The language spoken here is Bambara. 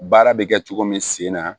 Baara bɛ kɛ cogo min sen na